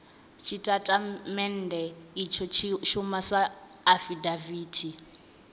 tshitatamennde itsho tshi shuma sa afidaviti